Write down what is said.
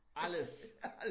Alles